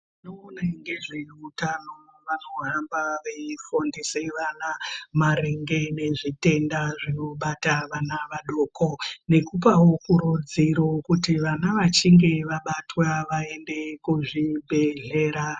Vanoona ngezveutano vanohamba veifundise vana, maringe nezvitenda zvinobata vana vadoko, nekupawo kurudziro, kuti vana vachinge vabatwa vaende kuzvibhedhlera.